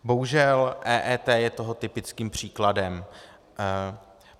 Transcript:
Bohužel EET je toho typickým příkladem.